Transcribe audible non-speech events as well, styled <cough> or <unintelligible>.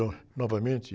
<unintelligible> novamente.